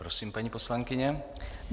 Prosím, paní poslankyně.